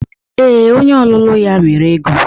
Ee, onye ọlụlụ ya nwere ego.